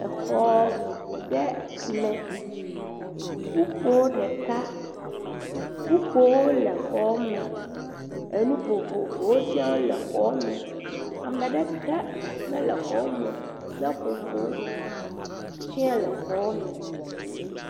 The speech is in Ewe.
Exɔ ɖe me kpukpoe ɖeka. Kpukpowo le xɔ me. Enu vovovowo tsea le xɔ me. Ame aɖeke mele xɔ me o. Seƒoƒowo tsea le xɔ me.